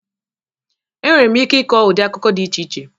Enwere m ike ịkọ ụdị akụkọ dị iche iche